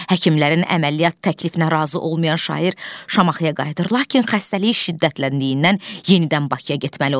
Həkimlərin əməliyyat təklifinə razı olmayan şair Şamaxıya qayıdır, lakin xəstəliyi şiddətləndiyindən yenidən Bakıya getməli olur.